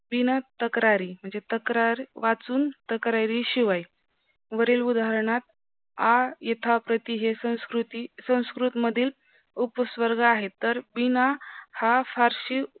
विणतक्रारी म्हणजे तक्रार वाचून तक्रारी शिवाय वरील उदारणात आ यथाप्रथि हे संस्कृति संस्कृत मधील उपस्वर्ग आहे तरी बिन हा फारशी व